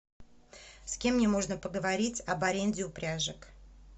с кем мне можно поговорить об аренде упряжек